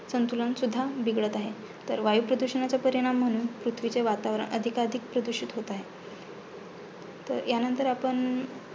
संतुलन सुध्दा बिघडत आहे. तर वायुप्रदुषणाचे परिणाम म्हणून पृथ्वीचे वातावरण अधिकाधिक प्रदूषित होत आहे, तर ह्यानंतर आपण